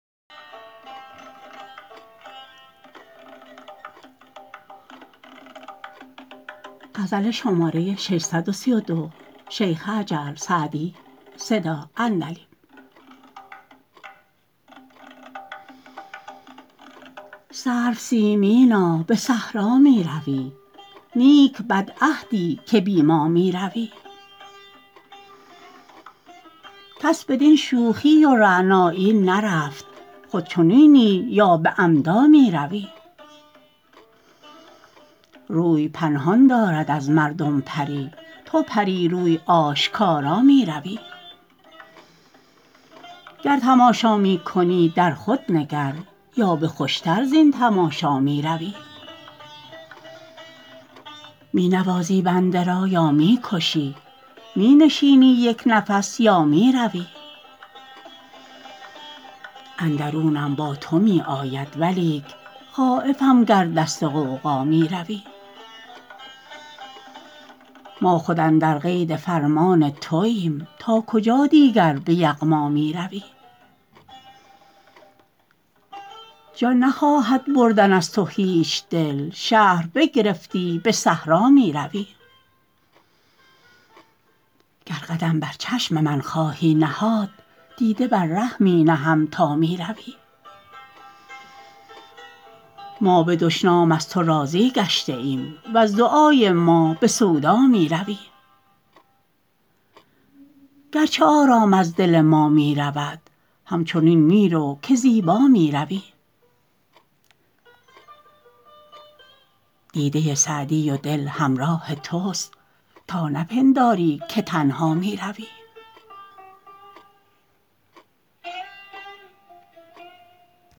سرو سیمینا به صحرا می روی نیک بدعهدی که بی ما می روی کس بدین شوخی و رعنایی نرفت خود چنینی یا به عمدا می روی روی پنهان دارد از مردم پری تو پری روی آشکارا می روی گر تماشا می کنی در خود نگر یا به خوش تر زین تماشا می روی می نوازی بنده را یا می کشی می نشینی یک نفس یا می روی اندرونم با تو می آید ولیک خایفم گر دست غوغا می روی ما خود اندر قید فرمان توایم تا کجا دیگر به یغما می روی جان نخواهد بردن از تو هیچ دل شهر بگرفتی به صحرا می روی گر قدم بر چشم من خواهی نهاد دیده بر ره می نهم تا می روی ما به دشنام از تو راضی گشته ایم وز دعای ما به سودا می روی گرچه آرام از دل ما می رود همچنین می رو که زیبا می روی دیده سعدی و دل همراه توست تا نپنداری که تنها می روی